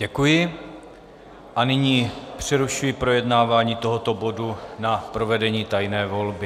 Děkuji a nyní přerušuji projednávání tohoto bodu na provedení tajné volby.